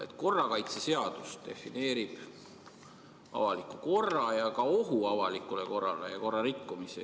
Hoopis korrakaitseseadus defineerib avaliku korra ja ka ohu avalikule korrale, samuti korrarikkumise.